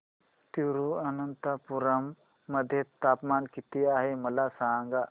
तिरूअनंतपुरम मध्ये तापमान किती आहे मला सांगा